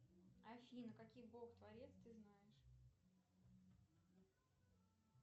афина каких бог творец ты знаешь